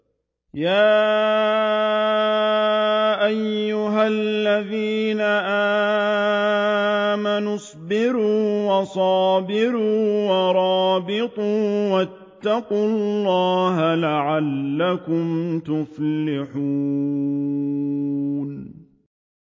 يَا أَيُّهَا الَّذِينَ آمَنُوا اصْبِرُوا وَصَابِرُوا وَرَابِطُوا وَاتَّقُوا اللَّهَ لَعَلَّكُمْ تُفْلِحُونَ